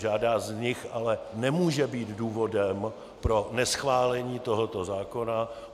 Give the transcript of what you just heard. Žádná z nich ale nemůže být důvodem pro neschválení tohoto zákona.